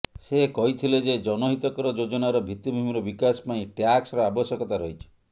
ସେ କହିଥିଲେ ଯେ ଜନହିତକର ଯୋଜନାର ଭିତ୍ତିଭୂମିର ବିକାଶ ପାଇଁ ଟ୍ୟାକ୍ସର ଆବଶ୍ୟକତା ରହିଛି